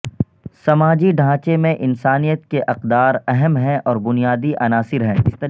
سماجی ڈھانچے میں انسانیت کے اقدار اہم ہیں اور بنیادی عناصر ہیں